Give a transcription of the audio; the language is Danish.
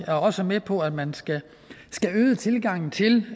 er også med på at man skal øge tilgangen til